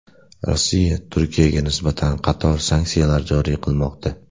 Rossiya Turkiyaga nisbatan qator sanksiyalar joriy qilmoqda.